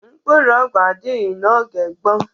Mkpụrụ ọgwụ adịghị n'oge gboo.